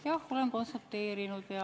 Jah, olen konsulteerinud.